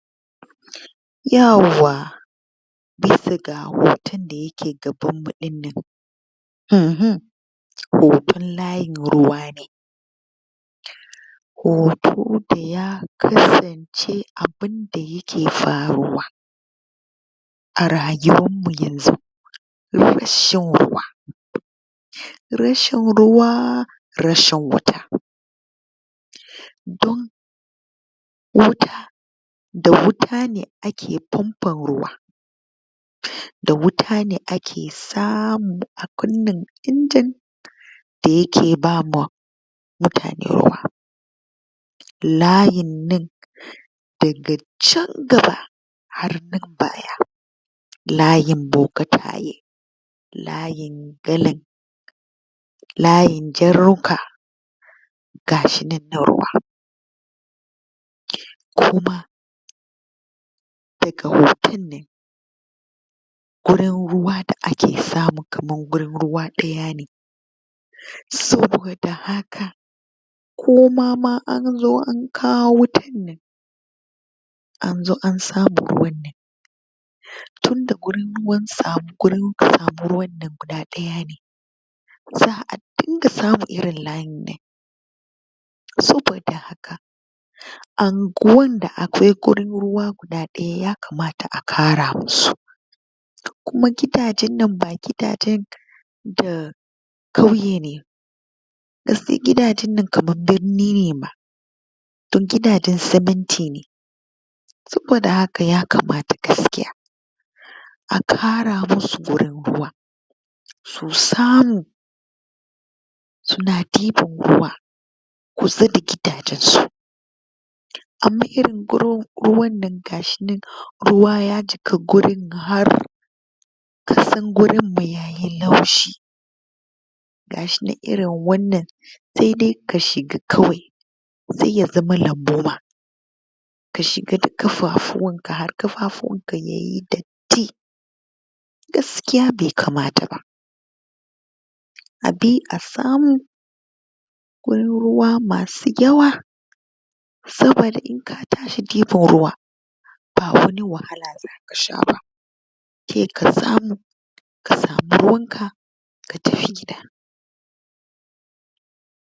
Yawwa! Bisa ga hoton da ya ke gabanmmu ɗinnan uhum hoton layin ruwa ne, hoton da ya kasance abunda ya ke faruwa a rayuwarmu yanzu na rashin ruwa, rashin ruwa rashin wauta don wuta da wuta ne ake fonfon ruwa, da wuta ne ake samu a kunna injin da ye ke bama mutane ruwa layin nan daga can gaba har nan baya layin bokitai, layin galan, layin jarka, ga shi nan na ruwa, kuma daga hoton nan gurin ruwa da ake samu kamar gurin ruwa ɗaya ne, saboda haka koma ma an zo an kawo wutar nan an zo an samu ruwan nan tunda gurin samun ruwannan guda ɗaya ne, za'a dinga samun irin layin nan, saboda haka anguwan da akwai gurin ruwa guda ɗaya yakamata a ƙara ma su, kuma gidajen nan ba gidajen da ƙauye ne, gaskiya gidajen nan kamar birni ne ma, don gidajen siminti ne, saboda haka yakamata gaskiya a ƙara masu gurin ruwa su samu su na ɗiban ruwa kusa da gidajensu, amma irin gurin ruwan nan ga shi nan ruwa ya jiƙa gurin har ƙasan gurin ma yayi laushi, ga shi nan irin wannan sai dai ka shiga kawai zai iya zama lambu ma, ka shiga da ƙafuwanka har ƙafafuwanka yayi datti, gaskiya bai kamata ba, a bi a samu gurin ruwa masu yawa saboda in ka tashi gefen ruwa ba wani wahala za ka sha ba, sai ka samu ka samu ruwanka ka tafi gida.